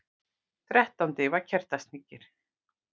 Þrettándi var Kertasníkir,